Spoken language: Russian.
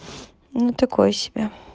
ну такое себе